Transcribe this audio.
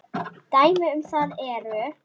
Dæmi um það eru